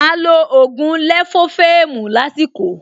Máa lo ògùn lẹ̀fófẹ́ẹ̀mù lásìkò